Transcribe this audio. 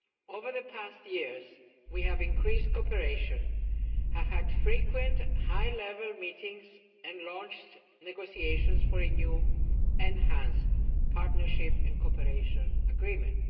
Over the past years, we have increased cooperation, have had frequent high level meetings and launched negotiations for a new enhanced Partnership and Cooperation Agreement.